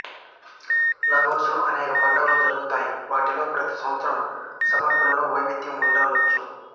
లాగోసులో అనేక పండుగలు జరుగుతాయి పండుగలలో ప్రతి సంవత్సరం సమర్పణలలో వైవిధ్యం ఉండవచ్చు